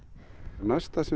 næsta sem